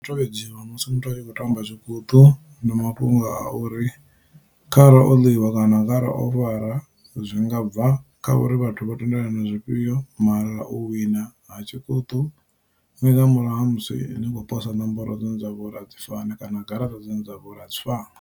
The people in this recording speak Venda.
U tovhedziwa musi muthu a i khou tamba zwikuṱu ndi mafhungo a uri kharali oliwa kana arali o fara zwinga bva kha uri vhathu vho tendelana zwifhio mara u wina ha tshi kuṱuku nga murahu ha musi ni khou posa nomboro dzine dzavha uri a dzi fani kana garaṱa dzine dzavha uri a dzi fani.